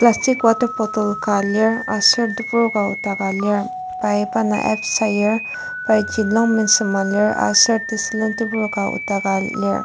plastic water bottle ka lir aser tebur ka okdaka lir pai pa indang abs sayur pai Jean longpant sema lir aser tesulen tebur ka odaka lir.